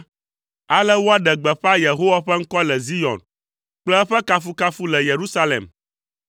Ale woaɖe gbeƒã Yehowa ƒe ŋkɔ le Zion kple eƒe kafukafu le Yerusalem,